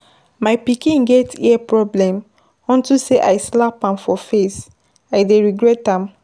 My pikin get ear problem unto say I slap am for face. I dey regret am.